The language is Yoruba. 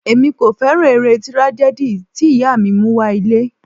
Èmi kò fẹ́ràn eré tragedy tí ìyá mi mú wá ilé.